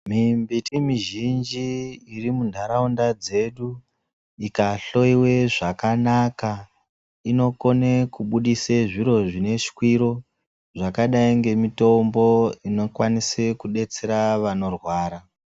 Mimbiti mizhinji iri munharaunda dzedu ikahloiwe zvakanaka, inokone kubudise zviro zvine shwiro zvakadai ngemitombo inokwanise kudetsera vanorwara.